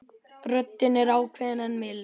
Röddin er ákveðin en mild.